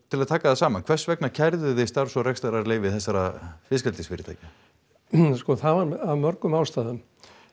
til að taka það saman hvers vegna kærðuð þið starfs og rekstrarleyfi þessara fyrirtækja það var af mörgum ástæðum